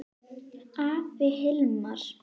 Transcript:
Afi Hilmar.